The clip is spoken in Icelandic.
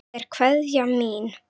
Þetta er kveðjan mín.